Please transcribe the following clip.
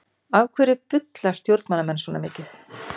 Af hverju bulla stjórnmálamenn svona mikið?